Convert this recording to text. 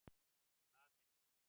Glaðheimum